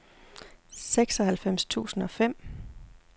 seksoghalvfems tusind og fem